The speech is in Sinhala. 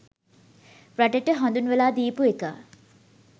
රටට හඳුන්වලා දීපු එක.